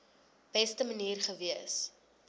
beste manier gewees